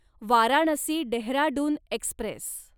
Varanasi Dehradun Express